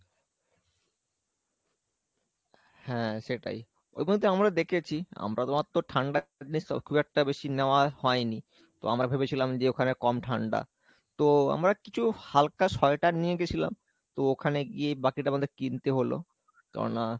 হ্যাঁ সেটাই, ওগুলো তো আমরা দেখেছি আমরা তোমার তো খুব একটা বেশি নেওয়া হয়নি, তো আমরা ভেবেছিলাম যে ওখানে কম ঠাণ্ডা তো আমরা কিছু হাল্কা sweater নিয়ে গেছিলাম তো ওখানে গিয়ে বাকিটা আমাদের কিনতে হলো, কেননা